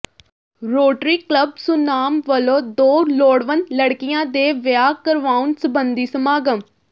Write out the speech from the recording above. rotary club Sunam ਵੱਲੋਂ ਦੋ ਲੋੜਵੰਦ ਲੜਕੀਆਂ ਦੇ ਵਿਆਹ ਕਰਵਾਉਣ ਸਬੰਧੀ ਸਮਾਗਮ